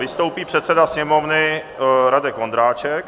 Vystoupí předseda Sněmovny Radek Vondráček.